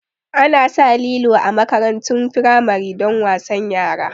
Ana sa lilo a makarantun firamari don wasan yara